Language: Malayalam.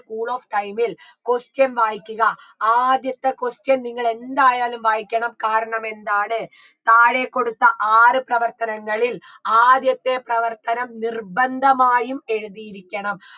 cool of time ൽ question വായിക്കുക ആദ്യത്തെ question നിങ്ങൾ എന്തായാലും വായിക്കണം കാരണമെന്താണ് താഴെ കൊടുത്ത ആറ് പ്രവർത്തനങ്ങളിൽ ആദ്യത്തെ പ്രവർത്തനം നിർബന്ധമായും എഴുതിയിരിക്കണം